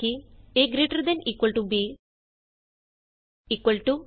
a gt b equal to easy